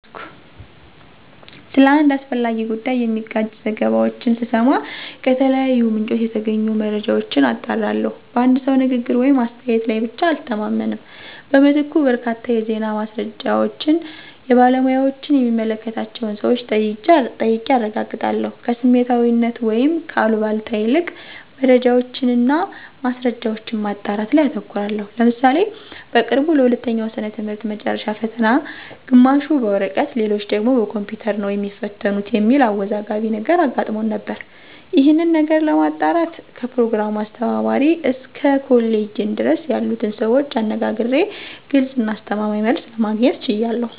ስለ አንድ አስፈላጊ ጉዳይ የሚጋጭ ዘገባዎችን ስሰማ ከተለያዩ ምንጮች የተገኙ መረጃዎችን አጣራለሁ። በአንድ ሰው ንግግር ወይም አስተያየት ላይ ብቻ አልተማመንም። በምትኩ በርካታ የዜና ማሰራጫዎችን፣ የባለሙያዎችን የሚመለከታቸውን ሰወች ጠይቄ አረጋግጣለሁ። ከስሜታዊነት ወይም ከአሉባልታ ይልቅ መረጃዎችን እና ማስረጃዎችን ማጣራት ላይ አተኩራለሁ። ለምሳሌ በቅርቡ ለሁለተኛው ወሰነ ትምህርት መጨረሻ ፈተና ግማሹ በወረቀት ሌሎች ደግሞ በኮምፒውተር ነው የሚትፈተኑት የሚል አወዛጋቢ ነገር አጋጥሞን ነበር። ይሄንን ነገር ለማጣራት ከፕሮግራሙ አስተባባሪ እስከ ኮሌጅ ዲን ድረስ ያሉትን ሰዎች አነጋግሬ ግልጽ እና አስተማማኝ መልስ ለማግኘት ችያለሁ።